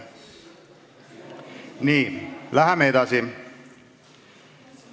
Nii, läheme edasi.